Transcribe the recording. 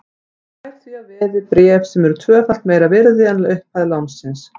Hann fær því að veði bréf sem eru tvöfalt meira virði en upphæð lánsins.